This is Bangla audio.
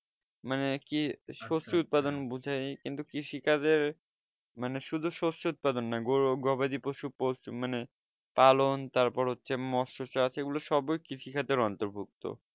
মানে কি শস্য উৎপাদন বুঝাই কিন্তু কৃষি কাজের শুধু শস্য উৎপাদন নয় গরু গবাদি পশু পোষ মানে পালন তারপর হচ্ছে মস্য চাষ এই গুলো সবই কৃষিকাজ অন্তর্ভুক্ত